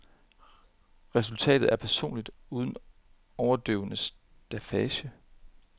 Resultatet er personligt uden overdøvende staffage.